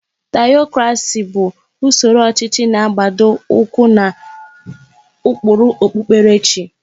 Tiyokrasị bụ usoro ọchịchị na-agbado ụkwụ n'ụkpụrụ okpupkerechi.